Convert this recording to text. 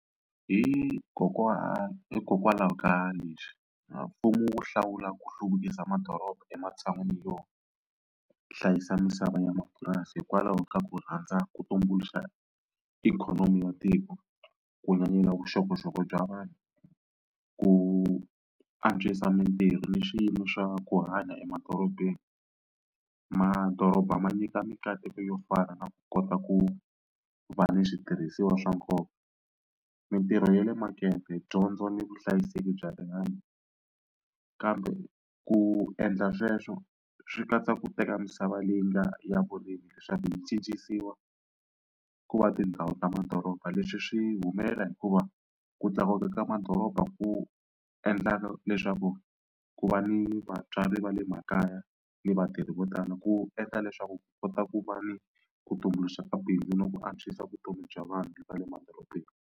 Hikokwalaho ka leswi mfumo wu hlawula ku hluvukisa madoroba ematshan'wini yo hlayisa misava ya mapurasi hikwalaho ka ku rhandza ku tumbuluxa ikhonomi ya tiko, ku nyanyula vuxokoxoko bya vanhu, ku antswisa mitirho ni swiyimo swa ku hanya emadorobeni. Madoroba ma nyika mikateko yo fana na ku kota ku va ni switirhisiwa swa nkoka, mitirho ya le makete, dyondzo ni vuhlayiseki bya rihanyo kambe ku endla sweswo swi katsa ku teka misava leyi nga ya vurimi leswaku yi cincisiwa ku va tindhawu ta madoroba. Leswi swi humelela hikuva ku tlakuka ka madoroba ku endla leswaku ku va ni vabyari va le makaya ni vatirhi vo tala ku endla leswaku ku kota ku va ni ku tumbuluxa mabindzu na ku antswisa vutomi bya vanhu va le madorobeni.